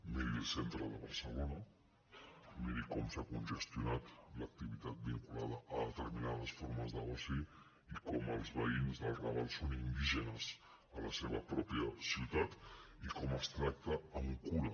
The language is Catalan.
miri el centre de barcelona miri com s’ha congestionat l’activitat vinculada a determinades formes d’oci i com els veïns del raval són indígenes a la seva pròpia ciutat i com es tracta amb cura